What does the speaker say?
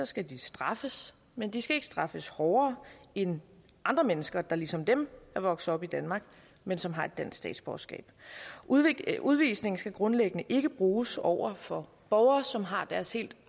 skal de straffes men de skal ikke straffes hårdere end andre mennesker der ligesom dem er vokset op i danmark men som har et dansk statsborgerskab udvisning udvisning skal grundlæggende ikke bruges over for borgere som har deres helt